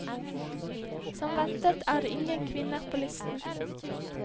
Som ventet er det ingen kvinner på listen.